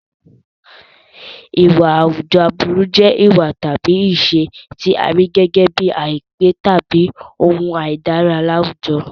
Ìwà àwùjọ aburú jẹ́ ìwà tàbí ìṣe tí a rí gẹ́gẹ́ bíi àìpé tàbí ohun àìdára ní àwùjọ.